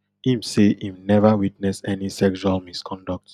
im say im never witness any sexual misconduct